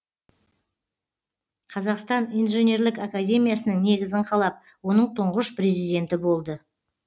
қазақстан инженерлік академиясының негізін қалап оның тұңғыш президенті болды